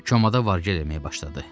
Ceməda vargəl eləməyə başladı.